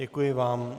Děkuji vám.